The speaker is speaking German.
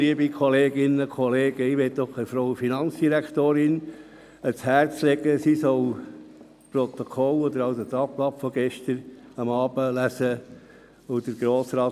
Ich lege der Finanzdirektorin ans Herz, das Tagblatt des gestrigen Abends lesen.